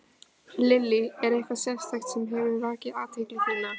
Lillý: Er eitthvað sérstakt sem hefur vakið athygli þína?